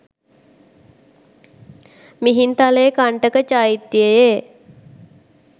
Mihintale Kantaka චෛත්‍යයේ